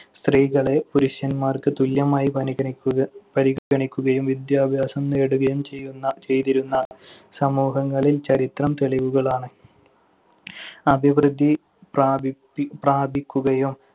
സ്ത്രീകളെ പുരുഷന്മാർക്ക് തുല്യമായി പണിഗണിക്കുക~ പരിഗണിക്കുകയും വിദ്യാഭ്യാസം നേടുകയും ചെയ്യുന്ന~ ചെയ്തിരുന്ന സമൂഹങ്ങളിൽ ചരിത്രം തെളിവുകളാണ്. അഭിവൃത്തി പ്രാപി~ പി~ പ്രാപിക്കുകയും